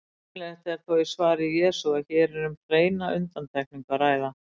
Greinilegt er þó á svari Jesú að hér er um hreina undantekningu að ræða.